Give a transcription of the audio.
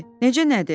Necə nədir?